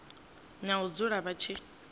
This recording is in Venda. na u dzula vha tshi